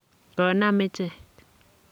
konam ichek.